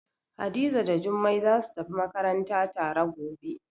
Hadiza da Jummai zasu tafi makaranta tare gobe.